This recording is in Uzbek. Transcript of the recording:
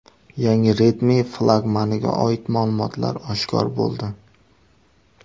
Yangi Redmi flagmaniga oid ma’lumotlar oshkor bo‘ldi.